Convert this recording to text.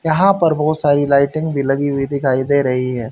यहाँ पर बहोत सारी लाइटिंग भी लगी हुई दिखाई दे रही हैं।